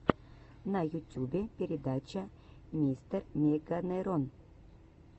на ютюбе передача мистермеганерон